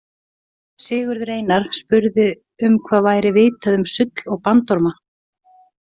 Sigurður Einar spurði um hvað væri vitað um sull og bandorma.